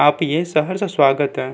आप ये शहर से स्वागत है।